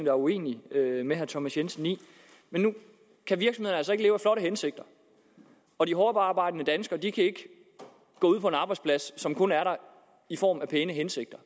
er uenige med herre thomas jensen i men nu kan virksomheder altså ikke leve af flotte hensigter og de hårdtarbejdende danskere kan ikke gå ud på en arbejdsplads som kun er der i form af pæne hensigter